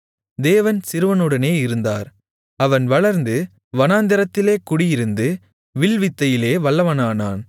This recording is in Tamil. தேவன் சிறுவனுடனே இருந்தார் அவன் வளர்ந்து வனாந்திரத்திலே குடியிருந்து வில்வித்தையிலே வல்லவனானான்